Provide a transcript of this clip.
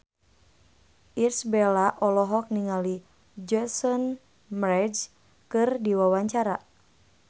Irish Bella olohok ningali Jason Mraz keur diwawancara